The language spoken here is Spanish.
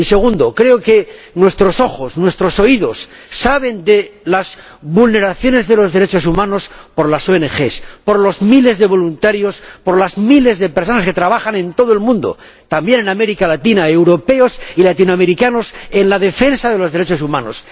Y segundo, creo que nuestros ojos, nuestros oídos saben de las vulneraciones de los derechos humanos por las ONG, por los miles de voluntarios, por las miles de personas que trabajan en todo el mundo, también en América Latina —europeos y latinoamericanos—, en la defensa de los derechos humanos.